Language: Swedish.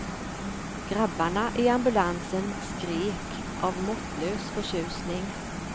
Grabbarna i ambulansen skrek av måttlös förtjusning.